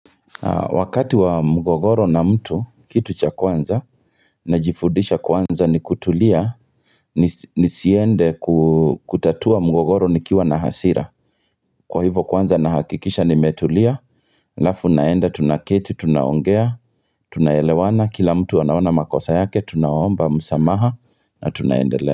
Wakati wa mgogoro na mtu kitu cha kwanza najifudisha kwanza ni kutulia nisiende kutatua mgogoro nikiwa na hasira Kwa hivo kwanza nahakikisha nimetulia, alafu naenda tunaketi, tunaongea, tunaelewana, kila mtu anaona makosa yake, tunaomba, msamaha na tunaendelea.